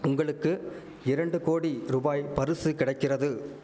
உங்களுக்கு இரண்டு கோடி ருபாய் பருசு கிடைக்கிறது